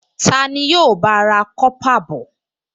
Ta ni yóò bá a ra kọ́pà bọ̀?